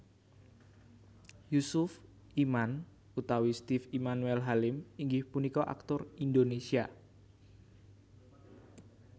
Yusuf Iman utawi Steve Emmanuel Halim inggih punika aktor Indonesia